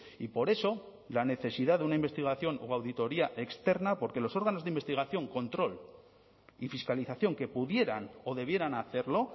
y por eso la necesidad de una investigación o auditoría externa porque los órganos de investigación control y fiscalización que pudieran o debieran hacerlo